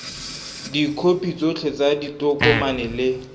dikhopi tsotlhe tsa ditokomane le